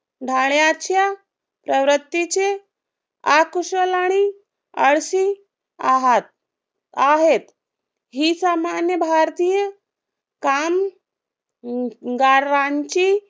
ढाण्याच्या प्रवृत्तीचे आकुशल आणि आळशी आहात. आहेत ही सामान्य भारतीय काम गारांची